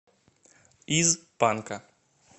из панка